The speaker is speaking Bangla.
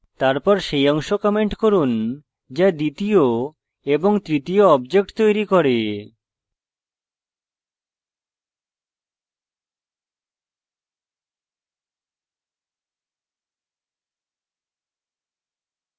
তারপর সেই অংশ comment করুন যা দ্বিতীয় এবং তৃতীয় objects তৈরি করে